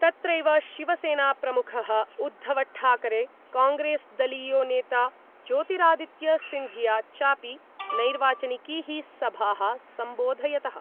तत्रैव शिवसेनाप्रमुखः उद्धवठाकरे कांग्रेसदलीयो नेता ज्योतिरादित्य सिंधिया चापि नैर्वाचनिकीः सभाः सम्बोधयतः।